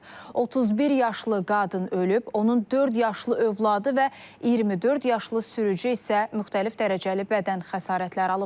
31 yaşlı qadın ölüb, onun dörd yaşlı övladı və 24 yaşlı sürücü isə müxtəlif dərəcəli bədən xəsarətləri alıblar.